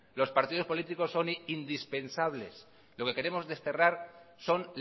los partidos políticos son indispensables lo que queremos desterrar son